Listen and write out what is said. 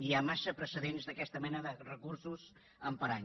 hi ha massa precedents d’aquesta mena de recursos amb parany